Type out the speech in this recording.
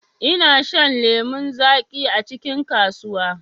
ina shan lemu zaƙi acikin kasuwa.